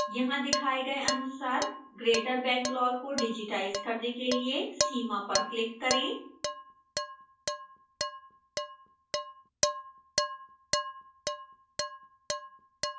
यहां दिखाए गए अनुसार greater bangalore को डिजिटाइज करने के लिए सीमा पर क्लिक करें